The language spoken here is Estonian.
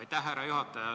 Aitäh, härra juhataja!